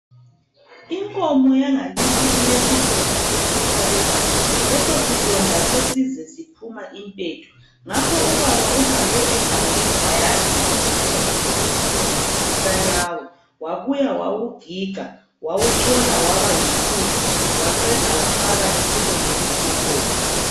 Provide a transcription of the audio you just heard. Inkomo yangakithi ilesilonda esesabekayo. Leso silonda sesize siphuma impethu. Ngakho ubaba uhambe egangeni wayadinga umuthi okuthiwa yisanqawe. Wabuya wawugiga wawuchola waba yimpuphu waqeda wafaka esilondeni senkomo.